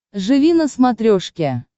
живи на смотрешке